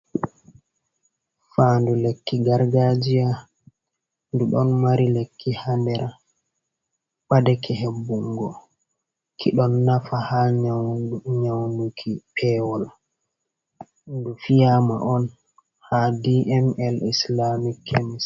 Fandu lekki gargajia ɗum du mari lekki ha nder a ɓa deke hebbun go ki ɗon nafa ha nyaunuki pewol du fiyama on ha dml islamic kemis.